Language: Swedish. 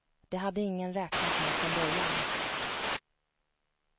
Det hade ingen räknat med från början.